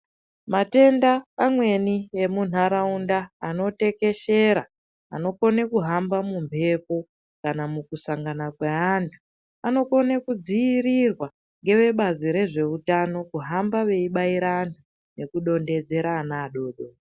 Matenda amweni emuntaraunda, anotekeshera, anokone kuhamba mumhepo kana mukusangana kweantu anokone kudziirirwa ngevebazi rezveutano, kuhamba veibaira antu nekudonhedzera ana adoko.